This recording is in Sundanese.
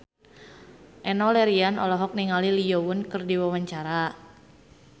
Enno Lerian olohok ningali Lee Yo Won keur diwawancara